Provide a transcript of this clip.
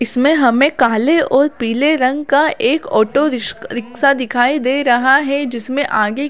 इसमें हमें काले और पिले रंग का एक ऑटो रिसक रिक्शा दिखाई दे रहा है जिसमे आगे--